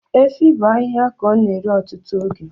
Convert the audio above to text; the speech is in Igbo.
Efi bụ ahịhịa ka ọ na-eri ọtụtụ oge